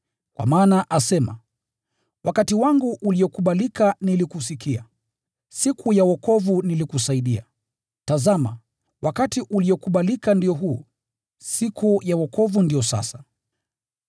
Kwa maana asema: “Wakati wangu uliokubalika nilikusikia, siku ya wokovu nilikusaidia.” Tazama, wakati uliokubalika ndio huu, siku ya wokovu ndiyo sasa.